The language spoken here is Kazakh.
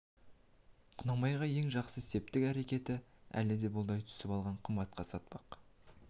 құнанбайға ең жақсы септік әрекетін әлі де бұлдай түсіп әлі де қымбатқа сатпақ